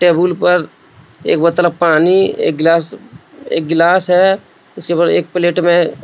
table पर एक बोतल पानी एक गिलास एक गिलास है उसके ऊपर एक प्लेट में --